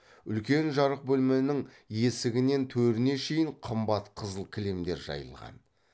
үлкен жарық бөлменің есігінен төріне шейін қымбат қызыл кілемдер жайылған